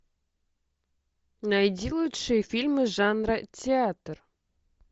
найди лучшие фильмы жанра театр